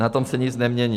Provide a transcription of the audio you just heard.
Na tom se nic nemění.